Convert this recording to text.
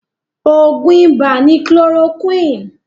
Oògùn ibà ni chloroquine